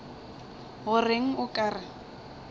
go reng o ka re